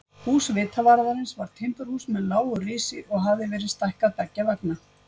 Hús vitavarðarins var timburhús með lágu risi og hafði verið stækkað beggja vegna.